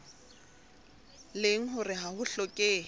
leng hore ha ho hlokehe